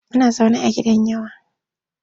Muna zaune a gidan yawa.